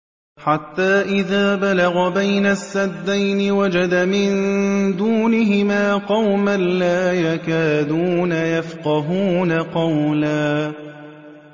حَتَّىٰ إِذَا بَلَغَ بَيْنَ السَّدَّيْنِ وَجَدَ مِن دُونِهِمَا قَوْمًا لَّا يَكَادُونَ يَفْقَهُونَ قَوْلًا